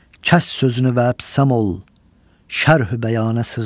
Kəs sözünü və əbsəm ol, şərh-ü bəyanə sığmazam.